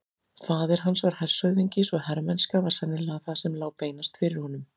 Faðir hans var hershöfðingi svo hermennska var sennilega það sem lá beinast fyrir honum.